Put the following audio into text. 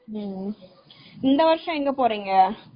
இந்த வருஷம் எங்க போறீங்க trip ?